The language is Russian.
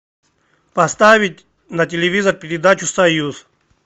поставить на телевизор передачу союз